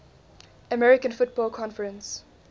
american football conference